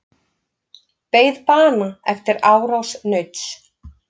Beið bana eftir árás nauts